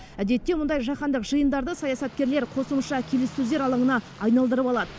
әдетте мұндай жаһандық жиындарды саясаткерлер қосымша келіссөздер алаңына айналдырып алады